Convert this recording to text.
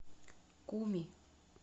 куми